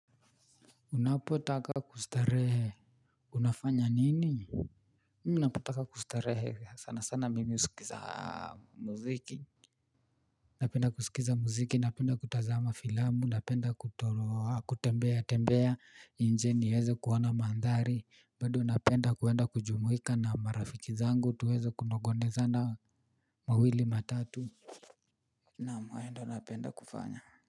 Unapotaka kustarehe unafanya nini. Unapotaka kustarehe sana sana mimi husikiza muziki. Napenda kusikiza muziki napenda kutazama filamu napenda kutembea tembea nje niweze kuona mandhari bado napenda kuenda kujumuika na marafiki zangu tuweze kunongonezana mawili matatu. Nam hayo ndo napenda kufanya.